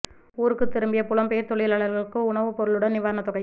ஊருக்கு திரும்பிய புலம் பெயர் தொழிலாளர்களுக்கு உணவு பொருளுடன் நிவாரணத் தொகை